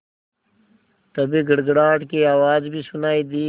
तभी गड़गड़ाहट की आवाज़ भी सुनाई दी